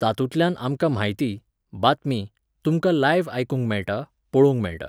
तातुंतल्यान आमकां म्हायती, बातमी, तुमकां लायव्ह आयकूंक मेळटा, पळोवंक मेळटा.